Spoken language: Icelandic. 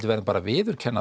verðum bara að viðurkenna